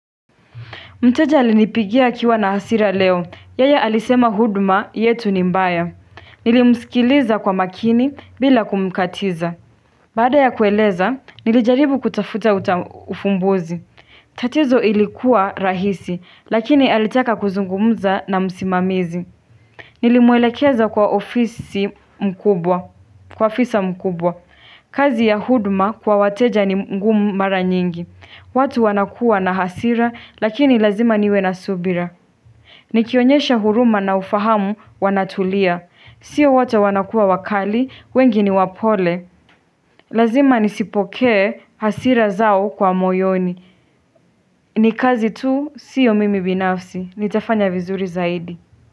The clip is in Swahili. Mteja alinipigia akiwa na hasira leo. Yeye alisema huduma yetu ni mbaya. Nilimsikiliza kwa makini bila kumkatiza. Baada ya kueleza, nilijaribu kutafuta ufumbuzi. Tatizo ilikuwa rahisi, lakini alitaka kuzungumza na msimamizi. Nilimwelekeza kwa ofisa mkubwa. Kazi ya huduma kwa wateja ni ngumu mara nyingi. Watu wanakuwa na hasira lakini lazima niwe na subira Nikionyesha huruma na ufahamu wanatulia Sio wote wanakuwa wakali, wengi ni wapole Lazima nisipokee hasira zao kwa moyoni ni kazi tu, sio mimi binafsi, nitafanya vizuri zaidi.